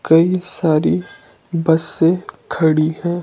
कई सारी बस्सें खड़ी हैं।